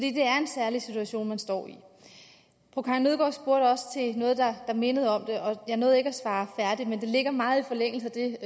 er situation man står i fru karin nødgaard spurgte også til noget der mindede om det og jeg nåede ikke at svare færdigt men det ligger meget i forlængelse af det